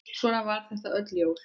Svona var þetta öll jól.